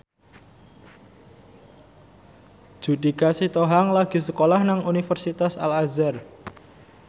Judika Sitohang lagi sekolah nang Universitas Al Azhar